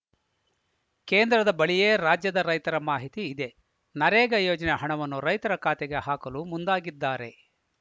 ಕೇಂದ್ರದ ಬಳಿಯೇ ರಾಜ್ಯದ ರೈತರ ಮಾಹಿತಿ ಇದೆ ನರೇಗಾ ಯೋಜನೆಯ ಹಣವನ್ನು ರೈತರ ಖಾತೆಗೆ ಹಾಕಲು ಮುಂದಾಗಿದ್ದಾರೆ